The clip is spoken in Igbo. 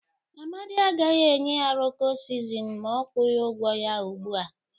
Amadị agaghị enye ya Rọko sizini ma ọ gwọghị ọgwọ ya ugbụ a.